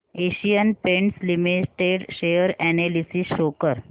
Asian paints limited share analysis show कर